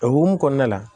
O hukumu kɔnɔna la